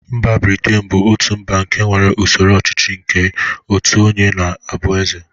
Mba Britain bụ otu mba nke nwere usoro ọchịchị nke otu onye na-abụ Eze.